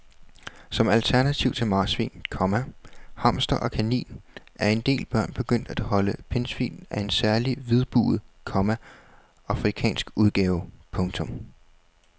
Som alternativ til marsvin, komma hamster og kanin er en del børn begyndt at holde pindsvin af en særlig hvidbuget, komma afrikansk udgave. punktum